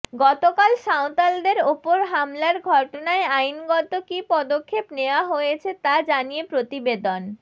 গতকাল সাঁওতালদের ওপর হামলার ঘটনায় আইনগত কী পদক্ষেপ নেয়া হয়েছে তা জানিয়ে প্রতিবেদন